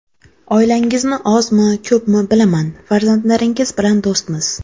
Oilangizni ozmi, ko‘pmi bilaman, farzandlaringiz bilan do‘stmiz.